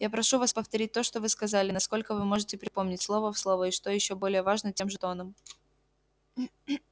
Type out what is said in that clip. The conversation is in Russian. я прошу вас повторить то что вы сказали насколько вы можете припомнить слово в слово и что ещё более важно тем же тоном